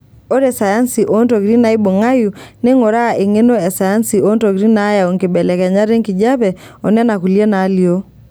Ore sayansi oo ntokitin naibung'ayu, neinguraa eng'eno e sayansi oontokitin naayau nkibelekenyat enkijiepe onena kulie naalio.